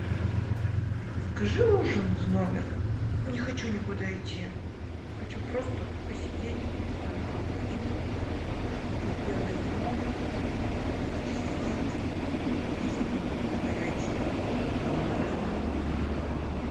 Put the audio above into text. закажи ужин в номер не хочу никуда идти хочу просто посидеть у себя на балконе попить белое вино легкий салат и что нибудь на горячее какую нибудь рыбу